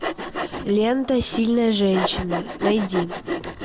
лента сильная женщина найди